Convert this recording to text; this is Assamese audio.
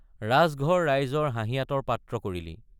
ৰাজঘৰ ৰাইজৰ হাঁহিয়াতৰ পাত্ৰ কৰিলি।